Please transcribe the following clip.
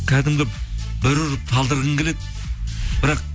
кәдімгі бір ұрып талдырғың келеді бірақ